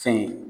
Fɛn ye